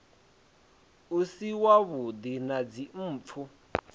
u si wavhuḓi na dzimpfu